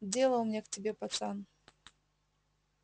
дело у меня к тебе пацан